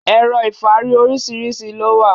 Ẹ̀rọ̀ ifárí oríṣiríṣi ló wà.